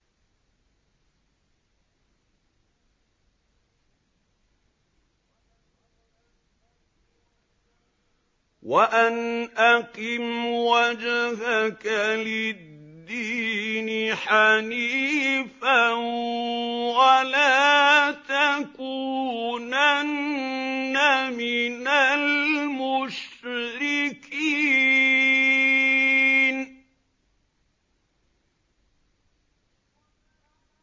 وَأَنْ أَقِمْ وَجْهَكَ لِلدِّينِ حَنِيفًا وَلَا تَكُونَنَّ مِنَ الْمُشْرِكِينَ